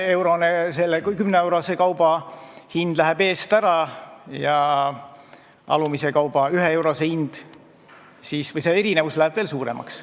Nojah, see 10-eurose kauba hind läheb eest ära ja see erinevus läheb veel suuremaks.